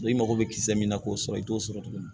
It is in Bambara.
i mago bɛ kisɛ min na k'o sɔrɔ i t'o sɔrɔ tuguni